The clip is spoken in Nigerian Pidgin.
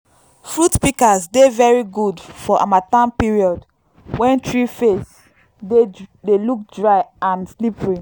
fruit pikas dey very good for harmattan period wen tree face dey look dry and slippery